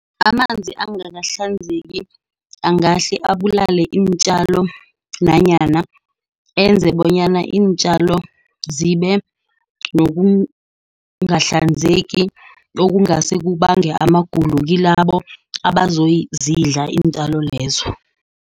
Amanzi angakahlanzeki angahle abulale iintjalo, nanyana enze bonyana iintjalo zibe nokungahlanzeki okungase kubange amagulo kilabo abazozidla iintjalo lezo.